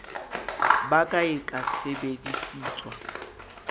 ba ka e ka sebedisetswa